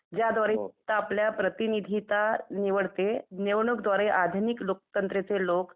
ज्या द्वारे आपल्या प्रतिनिधीता निवडते निवडणूकद्वारे आधुनिक लोकतंत्राचे लोकं